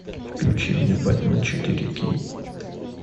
включи мне бэтмен четыре кей